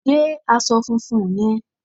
gé aṣọ funfun yẹn